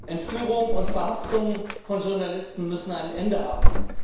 Entführung und Verhaftung von Journalisten müssen ein Ende haben.